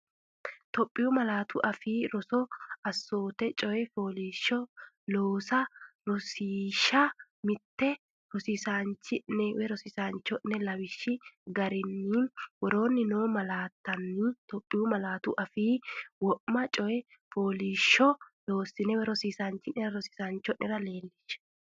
Itophiyu Malaatu Afii Roso Assoote Coyi fooliishsh loosa Rosiishsha Mite Rosiisaanchi’ne aanno’ne lawishshi garinni konni woroonni noo malaat- tanni Itophiyu malaatu afiinni wo’ma coyi fooliishshuwa loossine rosi- isaanchi’nera leellishshe.